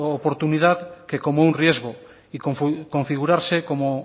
oportunidad que como un riesgo y configurarse como